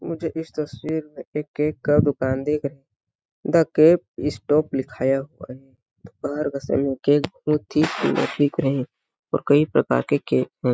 मुझे इस तस्वीर में एक केक का दुकान दिख रहा द केक स्टॉप लिखाया हुआ है दोपहर का समय केक बहुत ही सुन्दर दिख रहे और कई प्रकार के केक हैं ।